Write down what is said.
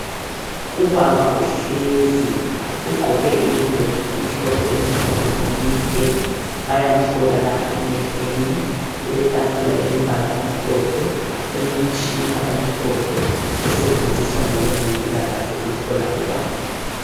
Ubaba uhlezi ugqoke iyembe emhlophe elomkhono emide bayamhlola lapha emehlweni, kule tafula elombala omhlophe, elomtshina omhlophe osetshenziswa ngo wezempilakahle ukuhlola ubaba.